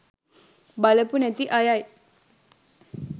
බලපු නැති අයයි